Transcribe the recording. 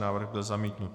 Návrh byl zamítnut.